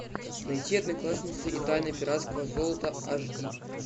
найти одноклассницы и тайны пиратского золота аш ди